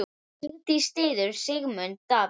Vigdís styður Sigmund Davíð.